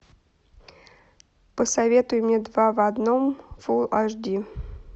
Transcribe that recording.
посоветуй мне два в одном фулл аш ди